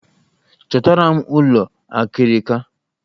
Chọtara m ụlọ akịrịka!